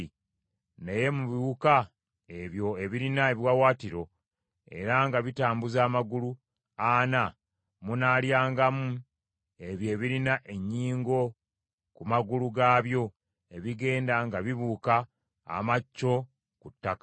Naye mu biwuka ebyo ebirina ebiwaawaatiro era nga bitambuza amagulu ana munaalyangamu ebyo ebirina ennyingo ku magulu gaabyo ebigenda nga bibuuka amacco ku ttaka.